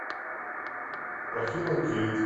афина кейт